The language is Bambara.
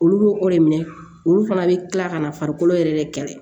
Olu b'o o de minɛ olu fana bɛ kila ka na farikolo yɛrɛ kɛlɛ